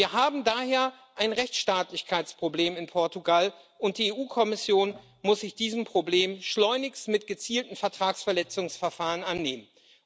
Wir haben daher ein Rechtsstaatlichkeitsproblem in Portugal, und die EU Kommission muss sich dieses Problems schleunigst mit gezielten Vertragsverletzungsverfahren annehmen.